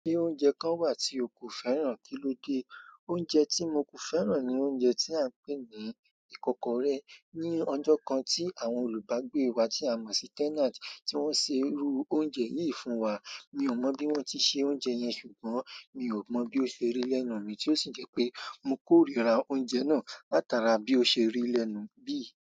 Ṣé oúnjẹ kan wà tí o kò fẹ́ràn kílódé? Oúnjẹ tí mo kò fẹ́ràn ni oúnjẹ tí à ń pè ní ikokore. Ni ọjọ́ kan tí àwọn olùbágbé wa tí a mọ̀ sí tenant tí wọ́n sè irú oúnjẹ yìí fún wa. Mi ò mọ bí wọ́n tí ṣe oúnjẹ yẹn ṣùgbọ́n mi ò mọ bí ó ṣe rí lẹ́nu mi tí ó sì jẹ́ pé mo kórìíra oúnjẹ náà látara bí ó ṣe rí lẹ́nu bí.